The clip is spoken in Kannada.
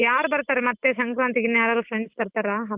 ಯಾರ್ ಬರ್ತಾರೆ ಮತ್ತೆ ಸಾಂಕ್ರಾಂತಿಗ್ ಇನ್ನ friends ಬರ್ತಾರ ಹಬ್ಬಕ್ಕೆ.